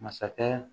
Masakɛ